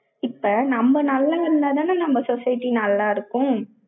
இப்ப, நம்ம நல்லா இருந்தாதானே, நம்ம society நல்லா இருக்கும்